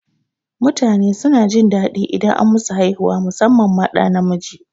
Mutane suna jin daɗi idan an musu haihuwa musamman ma ɗa namiji